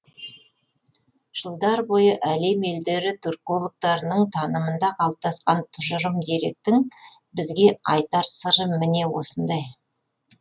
жылдар бойы әлем елдері түркологтарының танымында қалыптасқан тұжырым деректің бізге айтар сыры міне осындай